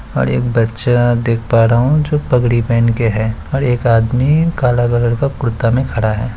और एक बच्चा देख पा रहा हूँ जो पगड़ी पहन के है और एक आदमी काला कलर का कुर्ता मे खड़ा है।